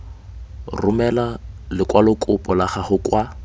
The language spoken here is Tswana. romela lekwalokopo la gago kwa